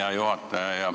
Hea juhataja!